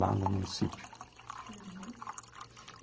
Lá no município.